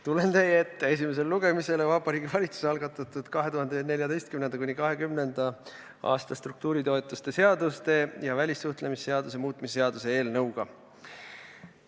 Tulen teie ette esimesele lugemisele Vabariigi Valitsuse algatatud perioodi 2014–2020 struktuuritoetuse seaduse ja välissuhtlemisseaduse muutmise seaduse eelnõuga.